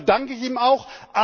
Dafür danke ich ihm auch.